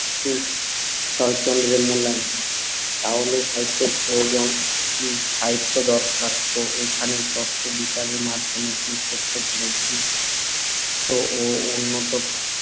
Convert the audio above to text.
শরৎচন্দ্রের মূল্যায়ন। তাহলে সাহিত্যের প্রয়োজন কী? সাহিত্যের দরকার তো এইখানেই তত্ত্ব বিচারের মাধ্যমে যে সত্যোপলব্ধি তো ও উন্নত